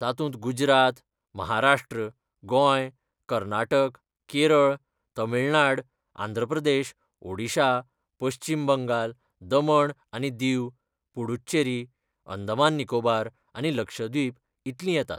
तातूंत गुजरात, महाराष्ट्र, गोंय, कर्नाटक, केरळ, तामिळनाड, आंध्र प्रदेश, ओडिशा, पश्चीम बंगाल, दमण आनी दीव, पुद्दुचेरी, अंदमान निकोबार आनी लक्षद्वीप इतलीं येतात.